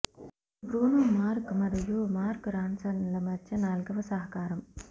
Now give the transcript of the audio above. ఇది Bruno Mars మరియు Mark రాన్సన్ల మధ్య నాల్గవ సహకారం